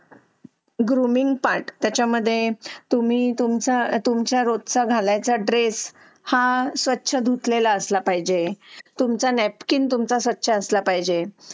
Grooming part त्याच्यामध्ये तुम्ही तुमचा तुमच्या रोज चालायचा ड्रेस हा स्वच्छ धुतलेला असला पाहिजे. तुमचा नॅपकिन तुमचा सच्चा असला पाहिजे.